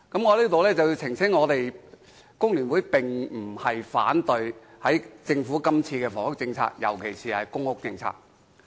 我在此澄清，工聯會並非反對政府這次提出的房屋政策，尤其是公屋政策。